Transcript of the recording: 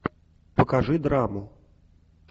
покажи драму